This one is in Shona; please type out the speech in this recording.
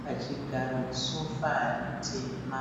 pachigaro sofa ritema.